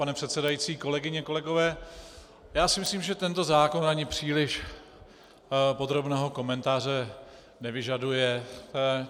Pane předsedající, kolegyně, kolegové, já si myslím, že tento zákon ani příliš podrobného komentáře nevyžaduje.